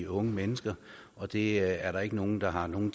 unge mennesker og det er der ikke nogen der har noget